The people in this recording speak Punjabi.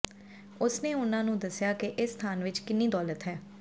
ਉਸਨੇ ਉਨ੍ਹਾਂ ਨੂੰ ਦੱਸਿਆ ਕਿ ਇਸ ਸਥਾਨ ਵਿੱਚ ਕਿੰਨੀ ਦੌਲਤ ਹੈ